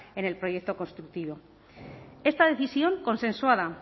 en el proyecto constructivo esta decisión consensuada